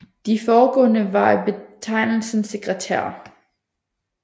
De forgående var af betegnelsen sekretærer